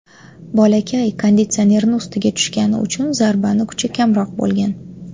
Bolakay konditsionerni ustiga tushgani uchun zarbani kuchi kamroq bo‘lgan.